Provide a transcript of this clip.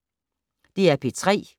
DR P3